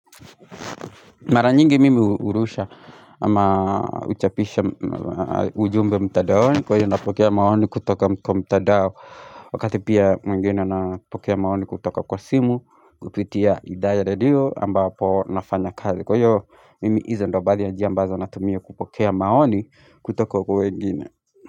Mara nyingi mimi hurusha ama huchapisha ujumbe mtandaoni kwa hiyo napokea maoni kutoka mtandao Wakati pia mwingine napokea maoni kutoka kwa simu kupitia idhaa ya radio ambapo nafanya kazi Kwa hiyo mimi iza ndo baadhi ya njia ambazo natumia kupokea maoni kutoka kwa wengine.